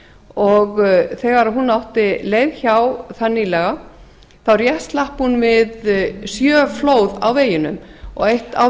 og þegar hún átti leið hjá þar nýlega þá rétt slapp hún við sjö flóð á veginum og eitt á